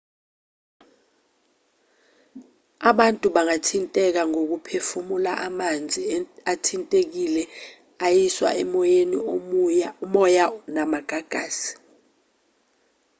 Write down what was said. abantu bangathinteka ngokuphefumula amanzi athintekile ayiswa emoyeni umoya namagagasi